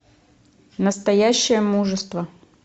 настоящее мужество